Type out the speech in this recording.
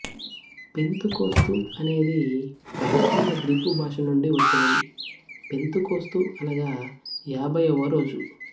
పెంతుకోస్తు అనేది ప్రాచీన గ్రీకు భాష నుండి వచ్చినది పెంతుకోస్తు అనగా యాబైవ రోజు